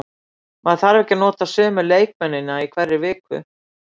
Maður þarf ekki að nota sömu leikmennina í hverri viku.